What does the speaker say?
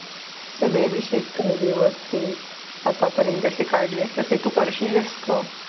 सगळे विषय कर व्यवस्थित आतापर्यंत जसे काढले तसे तू करशीलच ग.